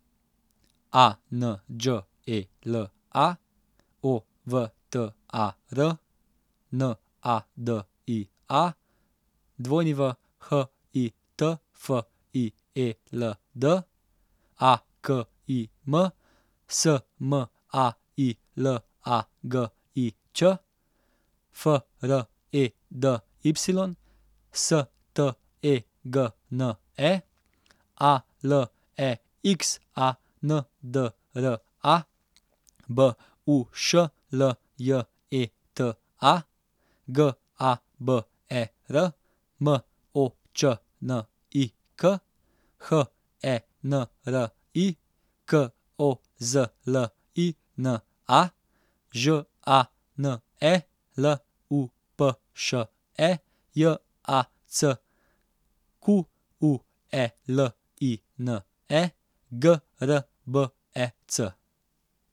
A N Đ E L A, O V T A R; N A D I A, W H I T F I E L D; A K I M, S M A I L A G I Ć; F R E D Y, S T E G N E; A L E X A N D R A, B U Š L J E T A; G A B E R, M O Č N I K; H E N R I, K O Z L I N A; Ž A N E, L U P Š E; J A C Q U E L I N E, G R B E C.